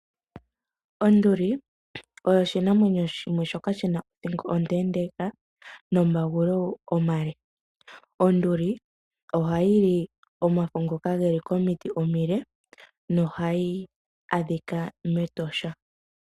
Onduli oshinamwenyo shimwe shoka shina othingo ondeendeka, nomagulu omale. Onduli ohayi li omafo ngoka geli komiti omili nohayi adhika mEtosha.